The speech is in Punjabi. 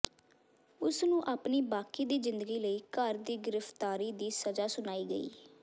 ਉਸ ਨੂੰ ਆਪਣੀ ਬਾਕੀ ਦੀ ਜ਼ਿੰਦਗੀ ਲਈ ਘਰ ਦੀ ਗ੍ਰਿਫਤਾਰੀ ਦੀ ਸਜ਼ਾ ਸੁਣਾਈ ਗਈ